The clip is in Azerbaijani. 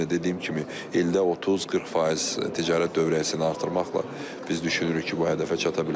Amma yenə dediyim kimi, ildə 30-40 faiz ticarət dövriyyəsini artırmaqla biz düşünürük ki, bu hədəfə çata bilərik.